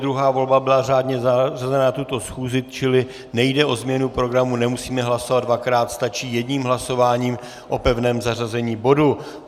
Druhá volba byla řádně zařazena na tuto schůzi, čili nejde o změnu programu, nemusíme hlasovat dvakrát, stačí jedním hlasováním o pevném zařazení bodu.